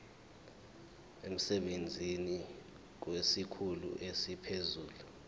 emsebenzini kwesikhulu esiphezulu